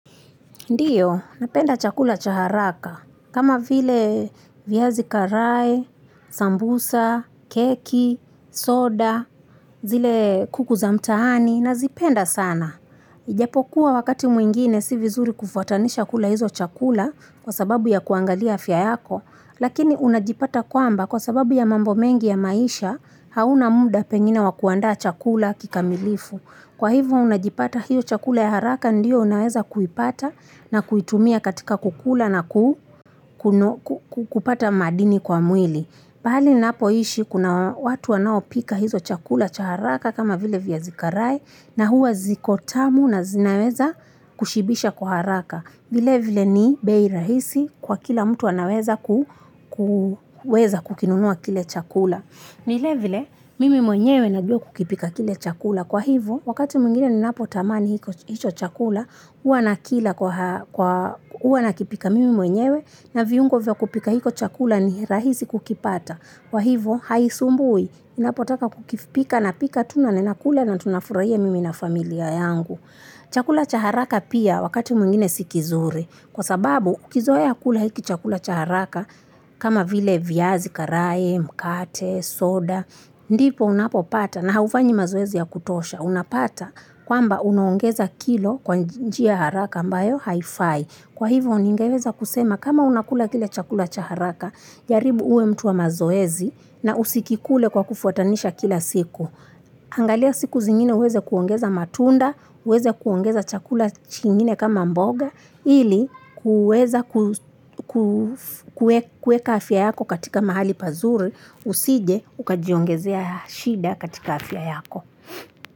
Ndiyo, napenda chakula cha haraka. Kama vile viazi karai, sambusa, keki, soda, zile kuku za mtaani, nazipenda sana. Ijapo kuwa wakati mwingine si vizuri kufuatanisha kula hizo chakula kwa sababu ya kuangalia afya yako. Lakini unajipata kwamba kwa sababu ya mambo mengi ya maisha hauna muda pengine wa kuanda chakula kikamilifu. Kwa hivyo unajipata hiyo chakula ya haraka ndiyo unaweza kuipata na kuitumia katika kukula na kupata madini kwa mwili. Pahali napoishi kuna watu wanaopika hizo chakula cha haraka kama vile viazi karai na huwa zikotamu na zinaweza kushibisha kwa haraka. Vile vile ni bei rahisi kwa kila mtu anaweza kukinunua kile chakula. Vile vile, mimi mwenyewe najua kukipika kile chakula. Kwa hivyo, wakati mwingine ninapotamani hicho chakula, huwa nakipika mimi mwenyewe na viungo vya kupika hicho chakula ni rahisi kukipata. Kwa hivyoo, haisumbui, ninapotaka kukipika na pika tu naninakula na tunafurahia mimi na familia yangu. Chakula cha haraka pia wakati mwingine si kizuri kwa sababu ukizoea kula hiki chakula cha haraka kama vile viazi karai, mkate, soda, ndipo unapopata na haufanyi mazoezi ya kutosha unapata kwamba unaongeza kilo kwa njia haraka ambayo haifai. Kwa hivyo ningeweza kusema kama unakula kile chakula cha haraka, jaribu uwe mtu wa mazoezi na usikikule kwa kufuatanisha kila siku. Angalia siku zingine uweze kuongeza matunda, uweze kuongeza chakula kingine kama mboga, ili uweza kuweka afya yako katika mahali pazuri, usije ukajiongezea shida katika afya yako.